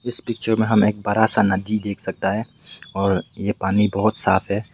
इस पिक्चर में हम एक बड़ा सा नदी देख सकता है और ये पानी बहोत साफ है।